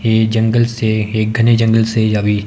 ये जंगल से एक घने जंगल से यवी ।